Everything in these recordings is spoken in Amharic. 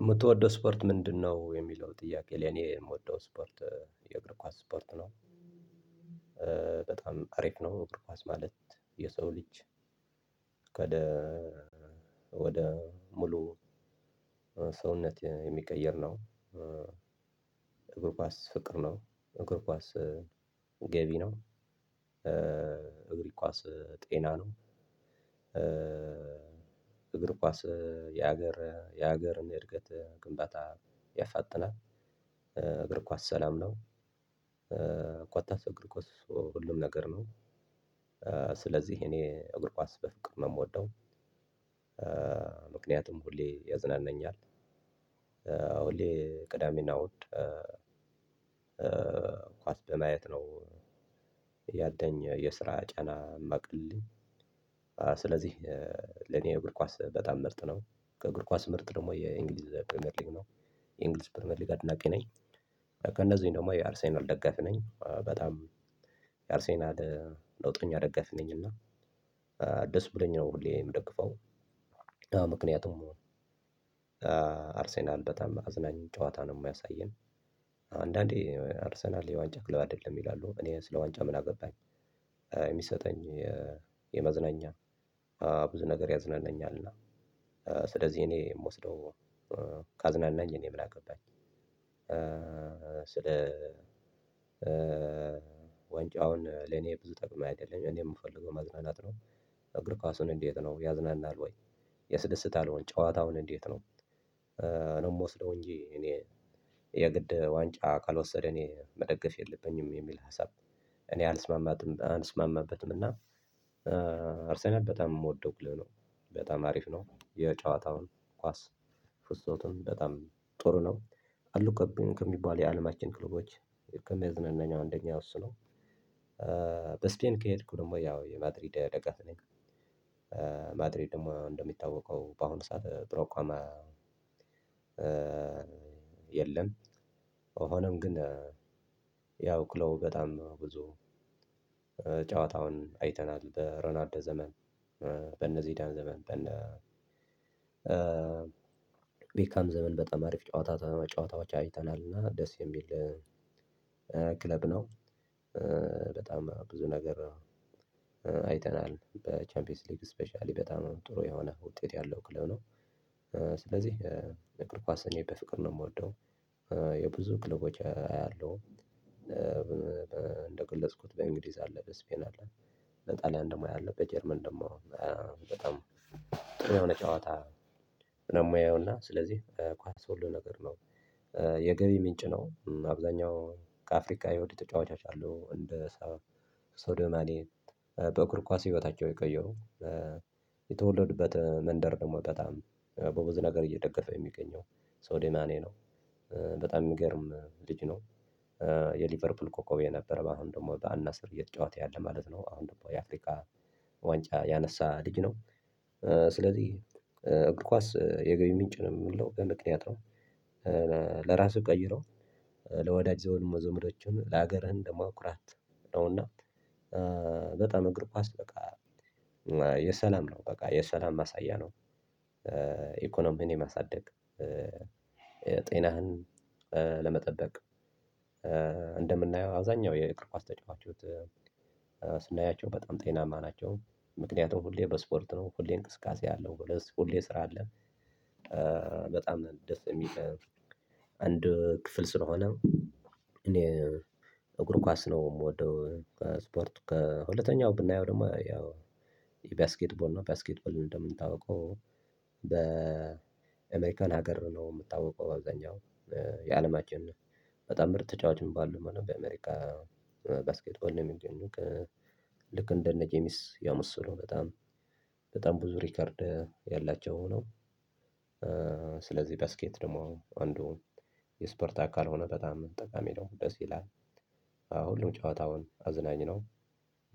የምትወደው ስፖርት ምንድነው? የሚለው ጥያቄ ለእኔ የምወደው ስፖርት የእግር ኳስ ስፖርት ነው። በጣም አሪፍ ነው እግር ኳስ ማለት የሰው ልጅ ወደ ሙሉ ሰውነት የሚቀይር ነው። እግር ኳስ ፍቅር ነው። እግር ኳስ ገቢ ነው። እግሪ ኳስ ጤና ነው። እግር ኳስ የሀገር የሀገርን የእድገት ግንባታ ያፋጥናል። እግር ኳስ ሰላም ነው። እግር ኳስ ሁሉም ነገር ነው። ስለዚህ እኔ እግርኳስ በፍቅር ነው የምወደው። ምክንያቱም ሁሌ ያዝናናኛል። ሁሌ ቅዳሜና እሁድ ኳስ በማየት ነው ያለኝ የስራ ጫና የሚያቀልልኝ። ስለዚህ ለኔ እግር ኳስ በጣም ምርጥ ነው። ከእግር ኳስ ምርጥ ደግሞ የእንግሊዝ ፕሪሚየር ሊግ ነው። የእንግሊዝ ፕሪሚየር ሊግ አድናቂ ነኝ። ከእነዚህ ደግሞ የአርሴናል ደጋፊ ነኝ። በጣም የአርሴናል ቀውጠኛ ደጋፍ ነኝ እና ደስ ብሎኝ ነው ሁሌ የምደግፈው። ምክንያቱም አርሴናል በጣም አዝናኝ ጨዋታ ነው የማያሳየን። አንዳንዴ አርሰናል የዋንጫ ክለብ አይደለም ይላሉ እኔ ስለ ዋንጫ ምን አገባኝ? የሚሰጠኝ የመዝናኛ ብዙ ነገር ያዝናናኛልና። ስለዚህ እኔ የምወስደው ካዝናናኝ እኔ ምን አገባኝ? ስለ ዋንጫ ለኔ ብዙ ጠቅሞ አይደለም እኔ ምፈልገው መዝናናት ነው። እግር ኳሱ እንዴት ነው ያዝናናል ወይ? ያስደስታል ወይ ጨዋታው እንዴት ነው? የምወስደው እንጂ እኔ የግድ ዋንጫውን ካልወሰደ መደገፍ የለብኝም የሚል ሀሳብ እኔ አልስማማበትም። እና አርሰናል በጣም የምወደው ክለብ ነው። በጣም አሪፍ ነው የጨዋታውን ኳስ ፍሰቱም በጣም ጥሩ ነው። አሉ ከሚባሉ የአለማችን ክለቦች ከሚያዝናናኝ አንደኛው እሱ ነው። በስፔን ከሄድኩ ደግሞ ያው የማድሪድ ደጋፊ ነኝ። ማድሪድ ደግሞ እንደሚታወቀው በአሁኑ ሰዓት ጥሩ አቋም የለም። ሆኖም ግን ያው ክለቡ በጣም ብዙ ጨዋታውን አይተናል በሮናልዶ ዘመን በነዚዳን ዘመን በነ ቤካም ዘመን በጣም አሪፍ ጨዋታ ጨዋታዎች አይተናል እና ደስ የሚል ክለብ ነው። በጣም ብዙ ነገር አይተናል በቻምፒየንስ ሊግ ስፔሻሊ በጣም ጥሩ የሆነ ውጤት ያለው ክለብ ነው። ስለዚህ እግር ኳስ እኔ በፍቅር ነው የምወደው። የብዙ ክለቦች አያለሁ። እንደ ገለጽኩት በእንግሊዝ አለ በስፔን አለ። በጣሊያን ደግሞ ያለው በጀርመን ደግሞ በጣም ጥሩ የሆነ ጨዋታ ነው የማየውና ስለዚህ ኳስ ሁሉ ነገር ነው። የገቢ ምንጭ ነው አብዛኛው ከአፍሪካ የወጡ ተጫዋቾች አሉ እንደ ሶዶማኔ በእግር ኳስ ህይወታቸው የቀየሩ የተወለዱበት መንደር ደግሞ በጣም በብዙ ነገር እየደገፈ የሚገኘው ሶዴማኔ ነው። በጣም የሚገርም ልጅ ነው። የሊቨርፑል ኮከብ የነበረ አሁን ደግሞ በአልናስር እየተጫወተ ያለ አሁን ደግሞ የአፍሪካ ዋንጫ ያነሳ ልጅ ነው። ስለዚህ እግር ኳስ የገቢ ምንጭ ነው የምለው በምክንያት ነው። ለራሱ ቀይሮ ለወዳጅ ዘመዶቹ ለሀገርህ ደግሞ ኩራት ነው። እና በጣም እግር ኳስ በቃ የሰላም ነው በቃ የሰላም ማሳያ ነው። ኢኮኖሚን የማሳደግ ጤናህን ለመጠበቅ እንደምናየው አብዛኛው የእግር ኳስ ተጫዋቾች ስናያቸው በጣም ጤናማ ናቸው። ምክንያቱም ሁሌ በስፖርት ነው ሁሌ እንቅስቃሴ አለው ሁሌ ስራ አለ። በጣም ደስ የሚል አንድ ክፍል ስለሆነ እኔ እግር ኳስ ነው የምወደው። ስፖርት ከሁለተኛው ብናየው ደግሞ ያው የባስኬትቦል ነው ባስኬትቦል እንደሚታወቀው በኤሜሪካን ሀገር ነው የሚታወቀው በአብዛኛው የአለማችን በጣም ምርጥ ተጫዋች የሚባሉት በአሜሪካ ባስኬት ቦል ነው የሚገኙት። ልክ እንደነ ጄሚስ የመሰሉ በጣም በጣም ብዙ ሪከርድ ያላቸው ሆኖ ስለዚህ ባስኬት ደግሞ አንዱ የስፖርት አካል ሆኖ በጣም ጠቃሚ ነው ደስ ይላል። አዎ ሁሉም ጨዋታውን አዝናኝ ነው።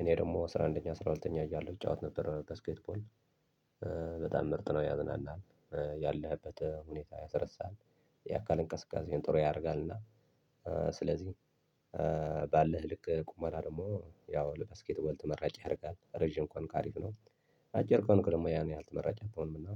እኔ ደግሞ አስራ አንደኛ አስራ ሁለተኛ እያለሁ እጫወት ነበር ባስኬትቦል በጣም ምርጥ ነው ያዝናናል። ያለህበት ሁኔታ ያስረሳሃል። የአካል እንቅስቃሴ ጥሩ ያደርጋልና እና ስለዚህ ባለህ ልክ ቁመና ደግሞ ያው ለ ባስኬትበል ተመራጭ ያደርጋል ረጅም ከሆንክ አሪፍ ነው። አጭር ከሆንክ ደግሞ ያን ያህል ተመራጭ አትሆንምና።